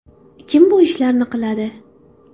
Kim bu ishlarni qiladi?